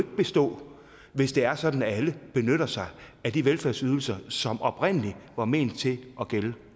bestå hvis det er sådan at alle benytter sig af de velfærdsydelser som oprindelig var ment til at gælde